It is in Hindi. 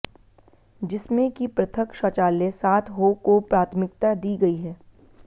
जिसमें कि पृथक शौचालय साथ हो को प्राथमिकता दी गई है